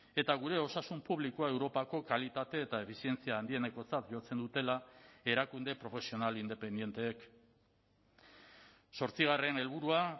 eta gure osasun publikoa europako kalitate eta efizientzia handienekotzat jotzen dutela erakunde profesional independenteek zortzigarren helburua